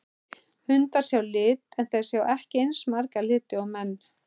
Hundar sjá í lit en þeir sjá ekki eins marga liti og menn.